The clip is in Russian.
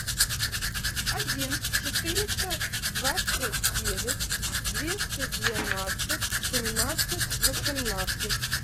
один четыреста двадцать девять двести двенадцать семнадцать восемнадцать